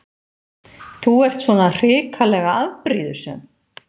Þú ert svona hrikalega afbrýðisöm!